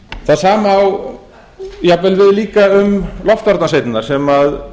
það sama á jafnvel við líka um loftvarnasveitirnar sem